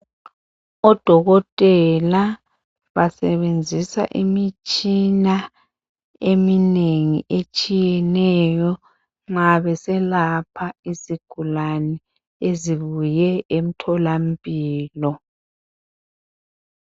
Odokotela basebenzisa imitshina eminengi etshiyeneyo ma beselapha izigulane ezibuye emtholampilo.